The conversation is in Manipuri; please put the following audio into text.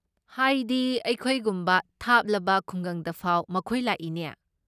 ꯍꯥꯏꯗꯤ, ꯑꯩꯈꯣꯏꯒꯨꯝꯕ ꯊꯥꯞꯂꯕ ꯈꯨꯡꯒꯪꯗꯐꯥꯎ ꯃꯈꯣꯏ ꯂꯥꯛꯏꯅꯦ꯫